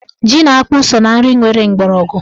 Ji na akpụ so na nri nwere mgbọrọgwụ.